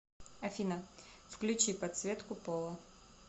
афина включи подсветку пола